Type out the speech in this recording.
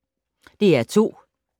DR2